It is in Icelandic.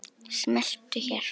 Smelltu hér.